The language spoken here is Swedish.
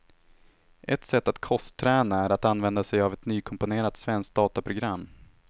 Ett sätt att kostträna är att använda sig av ett nykomponerat svenskt dataprogram.